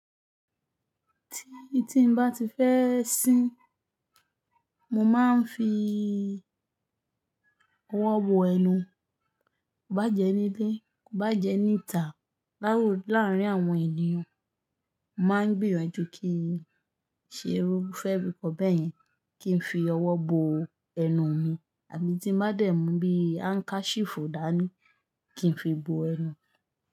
Ti, ti n ba ti fẹ́ sin, mo ma n fi ọwọ bo ẹnu. Ba jẹ́ nílé, kó bá jẹ́ níta láwù láàrin àwọn ènìyàn, mo máa ń gbìyànjú kí í ṣerú, fẹ́ fi kọ́ bèyẹn kí n fi ọwọ bo ẹnu mi àbí tí n bá dẹ̀ mú bí handkerchief dáa ní kí n fi bo ẹnu.